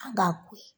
An b'a ko ye